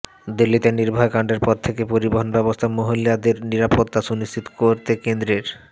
দিল্লিতে নির্ভয়া কাণ্ডের পর থেকে পরিবহণ ব্যবস্থায় মহিলাদের নিরাপত্তা সুনিশ্চিত করতে কেন্দ্রের